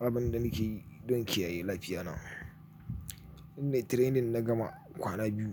Abin da nike yi don kiyaye lafiyana shine training na gama kwana biyu,